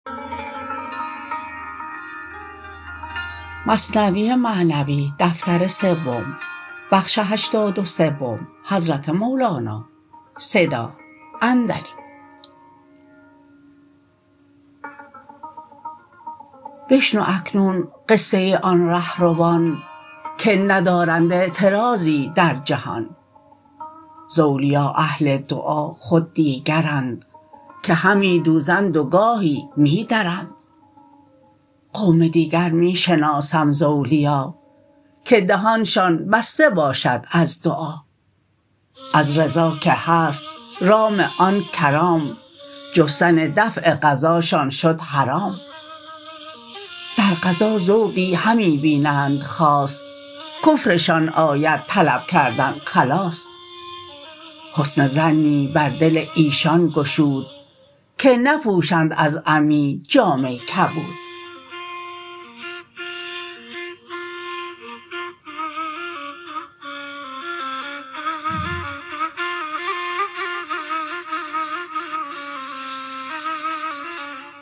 بشنو اکنون قصه آن ره روان که ندارند اعتراضی در جهان ز اولیا اهل دعا خود دیگرند که همی دوزند و گاهی می درند قوم دیگر می شناسم ز اولیا که دهانشان بسته باشد از دعا از رضا که هست رام آن کرام جستن دفع قضاشان شد حرام در قضا ذوقی همی بینند خاص کفرشان آید طلب کردن خلاص حسن ظنی بر دل ایشان گشود که نپوشند از عمی جامه کبود